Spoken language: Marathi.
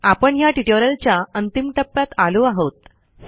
आपण ह्या ट्युटोरियलच्या अंतिम टप्प्यात आलो आहोत